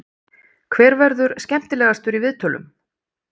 Hver verður skemmtilegastur í viðtölum?